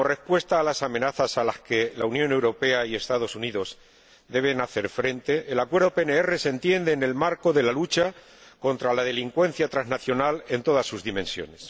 Como respuesta a las amenazas a las que la Unión Europea y los Estados Unidos deben hacer frente, el Acuerdo PNR se entiende en el marco de la lucha contra la delincuencia transnacional en todas sus dimensiones.